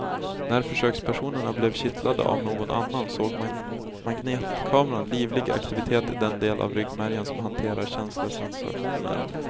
När försökspersonerna blev kittlade av någon annan såg magnetkameran livlig aktivitet i den del av ryggmärgen som hanterar känselsensationer.